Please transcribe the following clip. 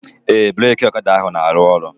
Ee, breki ọkada ahụ na-aru ọrụ